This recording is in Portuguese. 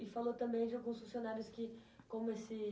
E falou também de alguns funcionários que, como esse...